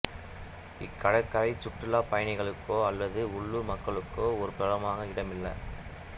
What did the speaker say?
இக்கடற்கரை சுற்றுலாப் பயணிகளுக்கோ அல்லது உள்ளூர் மக்களுக்கோ ஒரு பிரபலமான இடமல்ல